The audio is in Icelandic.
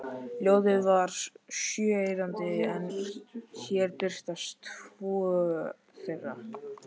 Ljóðið var sjö erindi en hér birtast tvö þeirra: